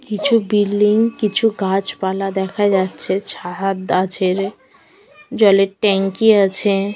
কিছু বিল্ডিং কিছু গাছ পালা দেখা যাচ্ছে ছাহাদ-আছে জলের ট্যাংকি আছে।